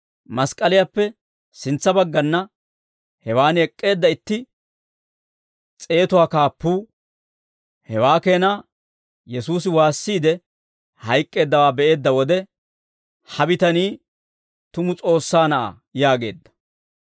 Mask'k'aliyaappe sintsa baggana hewaan ek'k'eedda itti s'eetuwaa Kaappuu, hewaa keenaa Yesuusi waassiide hayk'k'eeddawaa be'eedda wode, «Ha bitanii tumu S'oossaa Na'aa» yaageedda.